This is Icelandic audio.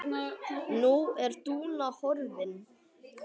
Nú er Dúna horfin.